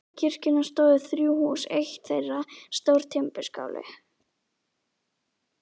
Við kirkjuna stóðu þrjú hús, eitt þeirra stór timburskáli.